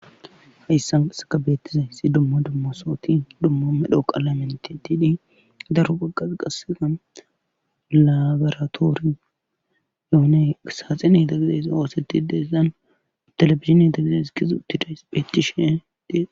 hayssansaka beettize si dumma dumma sooti dummo medho qallamente diidi daru bagaza qasega labaraatoori yooney saaxen idagizeysa hooseti deessan telefizine dagizes kizu tidees beettishe dees